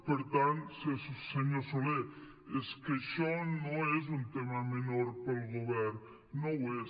per tant senyor soler és que això no és un tema menor per al govern no ho és